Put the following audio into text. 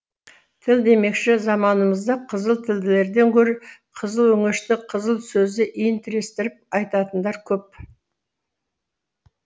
тіл демекші заманымызда қызыл тілділерден гөрі қызыл өңешті қызыл сөзді иін тірестіріп айтатындар көп